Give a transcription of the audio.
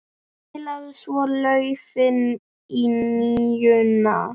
Spilaði svo laufi á NÍUNA.